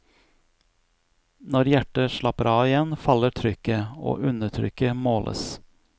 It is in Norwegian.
Når hjertet slapper av igjen faller trykket, og undertrykket måles.